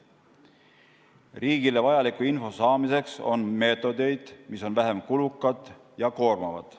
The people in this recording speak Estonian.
Riigile vajaliku info saamiseks on meetodeid, mis on vähem kulukad ja koormavad.